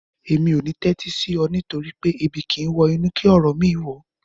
Mi ò ní tẹ́tí sí ọ nítorí pé "Ebi kìí wọ inú kí ọ̀rọ̀ mìíràn wọ̀ ọ́"